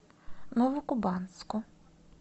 новокубанску